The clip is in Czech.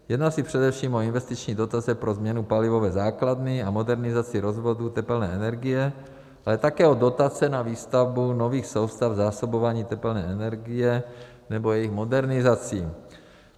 Jedná se především o investiční dotace pro změnu palivové základny a modernizaci rozvodů tepelné energie, ale také o dotace na výstavbu nových soustav zásobování tepelné energie nebo jejich modernizací.